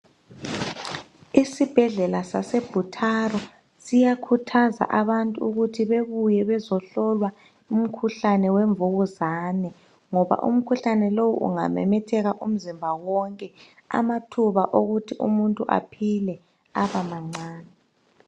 Isibhedlela saseButaro siyakhuthaza abantu ukuthi bebuye bezohlolwa umkhuhlane wemvukuzane ngoba umkhuhlane lowu ungamethetheka umzimba wonke amathuba wokuthi umuntu aphile abamancane